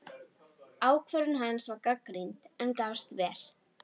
Ákvörðun hans var gagnrýnd, en gafst vel.